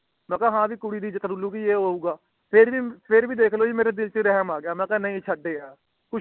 ਮੈਂ ਕਾਯਾ ਹਾਂ ਭੀ ਹੈ ਕੁੜੀ ਦੀ ਇੱਜ਼ਤ ਰੁਲ੍ਹ ਗਈ ਏਹ੍ਹ ਹੋਊਂਗਾ ਫੇਰ ਭੀ ਫੇਰ ਭੀ ਮੇਰੇ ਦਿਲ ਤੇ ਰਹਿਮ ਆ ਗਿਆ ਮਈ ਕੀਆ ਛੱਡ ਯਾਰ